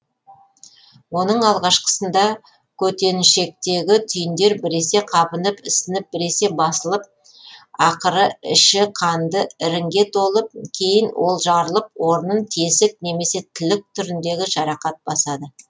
оның алғашқысында көтенішектегі түйіндер біресе қабынып ісініп біресе басылып ақыры іші қанды іріңге толып кейін ол жарылып орынын тесік немесе тілік түріндегі жарақат басады